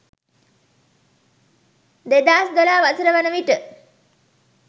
2012 වසර වන විට